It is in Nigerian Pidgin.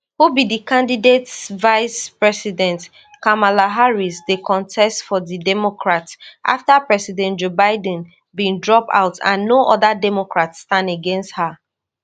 who be di candidatesvicepresident kamala harris dey contest for di democrats afta president joe biden bin drop out and no oda democrats stand against her